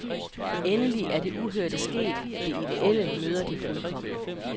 Endelig er det uhørte sket, det idéelle møder det fuldkomne.